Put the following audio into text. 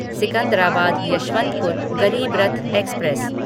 Secunderabad Yesvantpur Garib Rath express